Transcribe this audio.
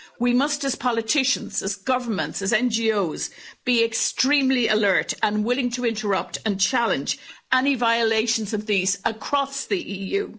We must as politicians, as governments, as NGOs be extremely alert and willing to interrupt and challenge any violations of these across the EU.